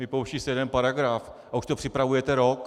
Vypouští se jeden paragraf - a už to připravujete rok.